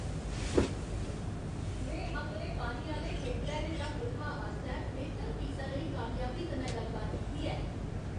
में अपने पानी आह्‌ले फिल्टरै दे रक्ख रखाऽ आस्तै बेह्तर फीसा लेई कामयाबी कन्नै गल्लबात कीती ऐ।